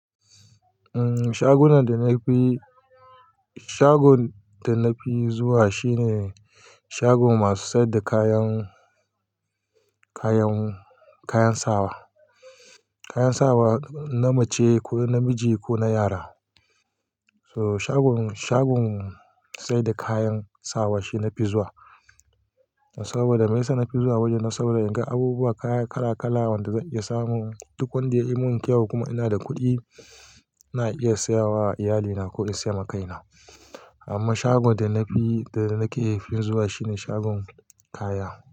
Umm, shagunan da na fi, shagon da na fi zuwa shine shagon masu sayar da kayan, kayan, kayan sawa. Kayan sawa na mace, ko na namiji ko na yara. So shagon, shagon sayar da kayan sawa shi na fi zuwa. Saboda me yasa na fi zuwa wajen nan saboda, in ga abubuwa, kaya kala-kala wanda zan iya samu. Duk wanda ya yi min kyau kuma ina da kuɗi ina iya saya wa iyalina ko in sai ma kaina. Amma shagon da na fi, da na ke fi zuwa shine shagon kaya.